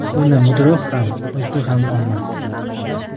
Uni mudroq ham, uyqu ham olmas.